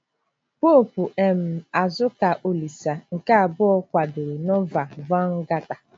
Poopu um Azuka Olise nke Abụọ kwadoro Nova Vulgata.